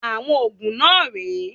Àwọn òògùn náà rè é.